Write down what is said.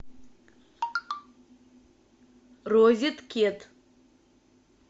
розеткед